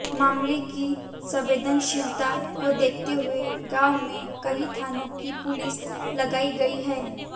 मामले की संवेदनशीलता को देखते हुए गांव में कई थानों की पुलिस लगाई गई है